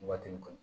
Waati min kɔnɔ